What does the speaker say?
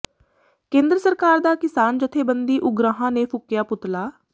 ਕੇਂਦਰ ਸਰਕਾਰ ਦਾ ਕਿਸਾਨ ਜਥੇਬੰਦੀ ਉਗਰਾਹਾਂ ਨੇ ਫੂਕਿਆ ਪੁਤਲਾ